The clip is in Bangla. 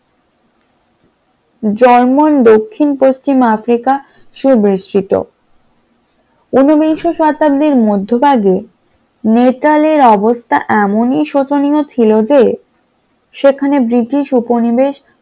জার্মান দক্ষিণ পশ্চিম আফ্রিকা সুবিস্তিত । উনবিংশ শতাব্দীর মধ্যভাগে মেটাল এ অবস্থা এমন ই শোচনীয় ছিল যে সেখানে ব্রিটিশ উপনিবেশ